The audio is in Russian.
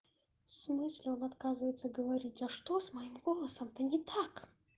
в смысле он отказывается говорить а что с моим голосом то не так